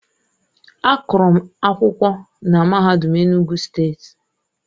Agụrụ m akwụkwọ na MAHADUM ENUGWU STEETI.